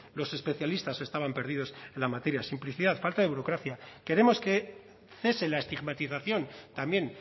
los especialistas estaban perdidos en la materia simplicidad falta de burocracia queremos que cese la estigmatización también